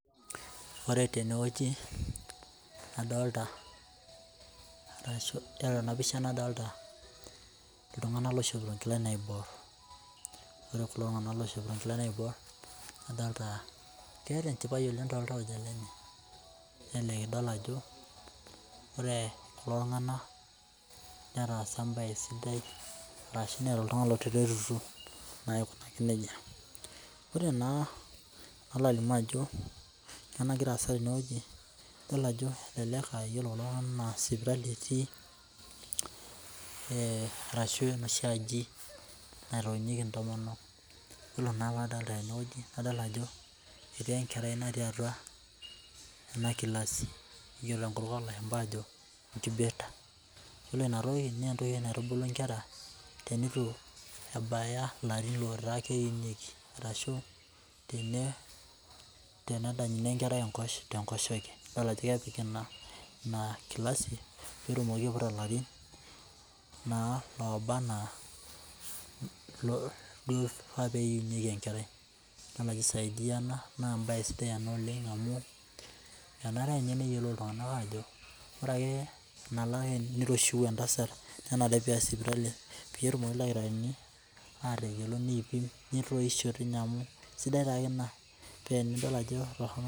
Ore tenewueji kadolta arashu ore tenapisha nadolta ltunganak oishopito nkilani naibor ore kulo adolta ajo keeta enchipae toltauja lenye nelelek idol ajo ore kulo tunganak netaasa embae sidai ashu neeta embae sidai ore naa palo alimu ajo kanyio nagira aasa tenewueji idol ajo elelek aa ore kulo tunganak na sipitali etii arashu enoshi aji naitoinyieki ntomonok yolo maa nadolita tenewueji adolta ajo etii enkerai natii atua enagilasi ejo lashumba ajo incubator iyolo inatoki na entoki naitubulu nkera tenituebaya larin loitulunyek arashu tenedanyuni enkerai tenkoshoke idol ako kepiki inagilasi petumoki aiputa larin Oba ana loifaa peiunyeki enkerai na kisaidia ena na embae sdai ena oleng amu emare Nye neyiolo ltunganak ajo ore ake piroshiu entasat nenare piya sipitali petumoki ldakitarini atayiolo nipik nitoisho sidai taake ina pa enidil ajo toronok.